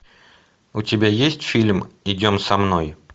у тебя есть фильм идем со мной